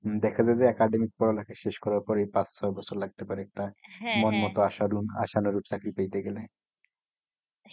হম দেখা যায় যে academic পড়ালেখা শেষ করার পরেই পাঁচ ছয় বছর লাগতে পারে একটা মন মতো আশারুন আশানুরূপ চাকরি পাইতে গেলে।